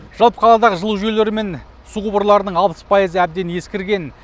жалпы қаладағы жылу жүйелері мен су құбырларының алпыс пайызы әбден ескірген